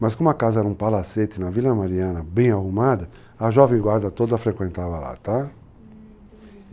Mas como a casa era um palacete na Vila Mariana, bem arrumada, a jovem guarda toda frequentava lá, tá? hum, entendi.